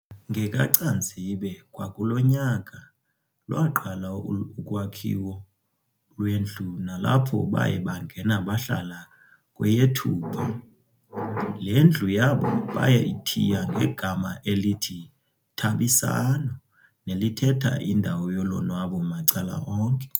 NgekaCanzibe kwakulo nyaka, lwaqala ukwakhiwo lwendlu nalapho baye bangena bahlala kweyeThupha. Le ndlu yabo bayithiya ngegama elithi "Thabisano" nelithetha indawo yolonwabo macala onke.